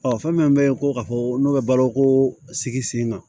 Ɔ fɛn min bɛ ko ka fɔ n'o bɛ balo ko sigi sen kan